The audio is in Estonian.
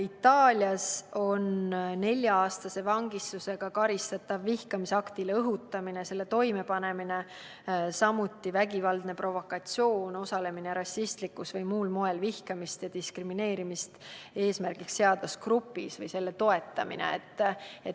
Itaalias on nelja-aastase vangistusega karistatav vihkamisaktile õhutamine ja selle toimepanemine, samuti vägivaldne provokatsioon, osalemine rassistlikus või muul moel vihkamist ja diskrimineerimist eesmärgiks seadvas grupis või selle toetamine.